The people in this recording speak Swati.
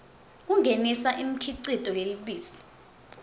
kungenisa imikhicito yelubisi